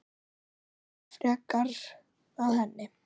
Lögum okkur frekar að henni.